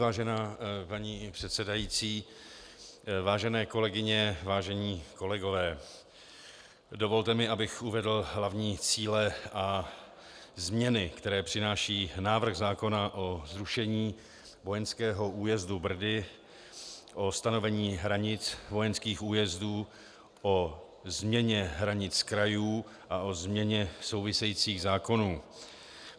Vážená paní předsedající, vážené kolegyně, vážení kolegové, dovolte mi, abych uvedl hlavní cíle a změny, které přináší návrh zákona o zrušení vojenského újezdu Brdy, o stanovení hranic vojenských újezdů, o změně hranic krajů a o změně souvisejících zákonů.